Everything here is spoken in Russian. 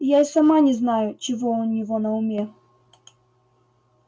я и сама не знаю чего у него на уме